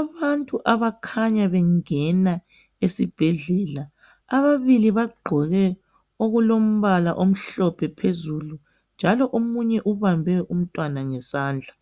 Abantu abakhanya bengena esibhedlela, ababili bagqoke okulombala omhlophe phezulu njalo omunye ubambe umntwana ngesandla.